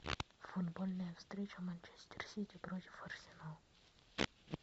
футбольная встреча манчестер сити против арсенал